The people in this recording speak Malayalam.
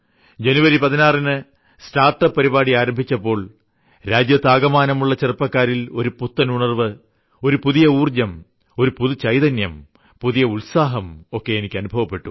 ജനുവരി 16ന് സ്റ്റാർട്ട്അപ്പ് പരിപാടി ആരംഭിച്ചപ്പോൾ രാജ്യത്താകമാനമുള്ള ചെറുപ്പക്കാരിൽ ഒരു പുത്തനുണർവ്വ് ഒരു പുതിയ ഊർജ്ജം ഒരു പുതുചൈതന്യം പുതിയ ഉത്സാഹം ഒക്കെ എനിയ്ക്കനുഭവപ്പെട്ടു